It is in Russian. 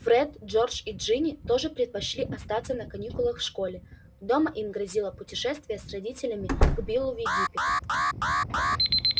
фред джордж и джинни тоже предпочли остаться на каникулах в школе дома им грозило путешествие с родителями к биллу в египет